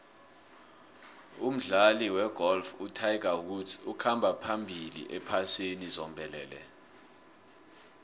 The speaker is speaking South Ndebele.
umdlali wegolf utiger woods ukhamba phambili ephasini zombelele